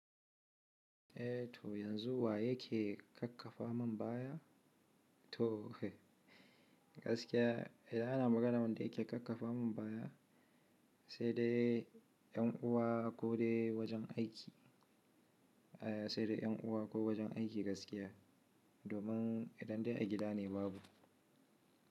Eh to yanzu wa yake kakkafa mun mbaya? To gaskiya idan ana magana wanda yake kakkafa mun baya sai dai ƴan uwa ko dai wajen aiki, sai dai ƴan uwa ko wajen aiki gaskiya domin idan dai a gida ne babu.